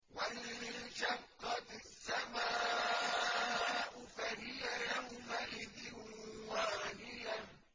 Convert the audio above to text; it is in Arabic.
وَانشَقَّتِ السَّمَاءُ فَهِيَ يَوْمَئِذٍ وَاهِيَةٌ